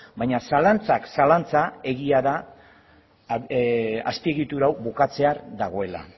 baina zalantzak zalantza egia da azpiegitura hau bukatzear dagoela